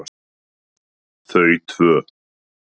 Þau tvö